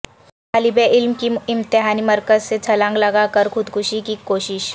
طالب علم کی امتحانی مرکز سے چھلانگ لگاکر خود کشی کی کوشش